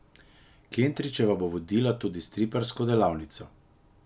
Kentrićeva bo vodila tudi striparsko delavnico.